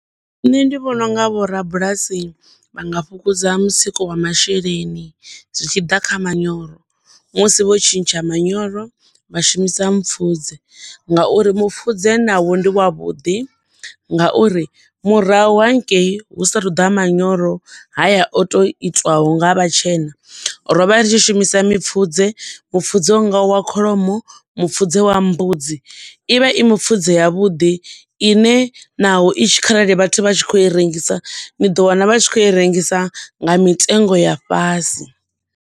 Nṋe ndi vhona unga vhorabulasi vha nga fhungudza mutsiko wa masheleni zwi tshi ḓa kha manyoro. Musi vho tshintsha manyoro vha shumisa mupfudze nga uri mupfudze na wo ndi wa vhuḓi nga uri murahu hangei hu sa thu ḓa manyoro haya o to itiwaho nga vhatshena, ro vha ri tshi shumisa mipfudze mupfudze unga wa kholomo, mupfudze wa mbudzi, ivha i mipfudze ya vhuḓi ine naho itshi kharali vhathu vha kho i rengisa, ni ḓo wana vha tshi kho i rengisa nga mitengo ya fhasi.